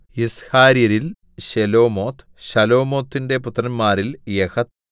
യിസ്ഹാര്യരിൽ Shelomoth ശലോമോത്തിന്റെ പുത്രന്മാരിൽ യഹത്ത്